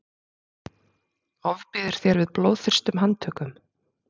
ofbýður þér við blóðþyrstum handtökum